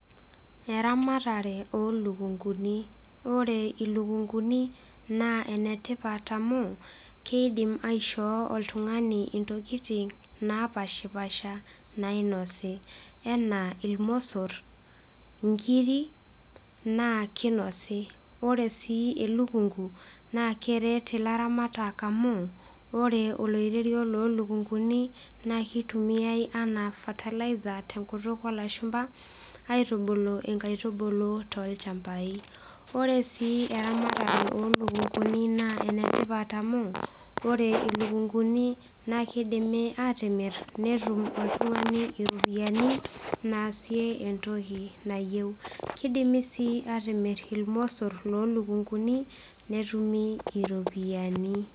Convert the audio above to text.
Eramatare olukuni. Ore eramatare olukunguni naa enetipat amu kidim aishoo oltungani ntokitin napashpasha nainosi enaa irmosor , inkiri naa kinosi . Ore sii elukungu naa keret ilaramatak amu ore oloirerio lolukunguni naa kitumiay anaa fertilizer tenkutuk olashumba aitubulu nkaitubulu tolchambai . Ore sii eramatare olukunguni naa enetipat amu ore ilukunguni naa kidimi atimir netum oltungani iropiyiani naasie entoki nayieu. Kidimi sii atimir irmosor lolukunguni netumi iropiyiani.